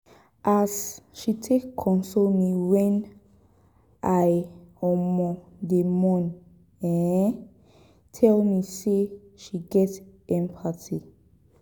as she take console me wen i um dey mourn um tell me sey she get empathy.